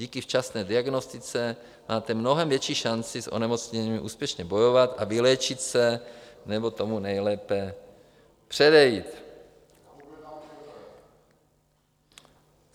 Díky včasné diagnostice máte mnohem větší šanci s onemocněním úspěšně bojovat a vyléčit se nebo tomu nejlépe předejít.